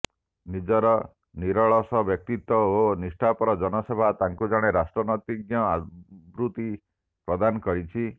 ନିଜର ନିରଳସ ବ୍ୟକ୍ତିତ୍ୱ ଓ ନିଷ୍ଠାପର ଜନସେବା ତାଙ୍କୁ ଜଣେ ରାଷ୍ଟ୍ରନୀତିଜ୍ଞ ଆଦୃତି ପ୍ରଦାନ କରିଛି